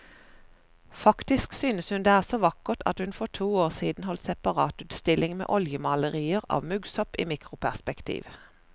Faktisk synes hun det er så vakkert at hun for to år siden holdt separatutstilling med oljemalerier av muggsopp i mikroperspektiv.